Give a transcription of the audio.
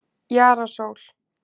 Jara Sól